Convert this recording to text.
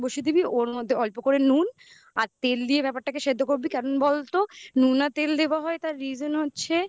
ওর মধ্যে অল্প করে নুন তেল দিয়ে ব্যাপারটাকে সেদ্ধ করবি কেন বলতো নুনে তেল দেওয়া হয় তার reason হচ্ছে